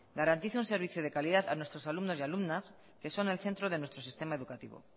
garantice un servicio de calidad a nuestros alumnos y alumnos que son el centro de nuestro sistema educativa